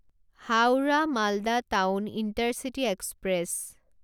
Howrah Malda town intercity express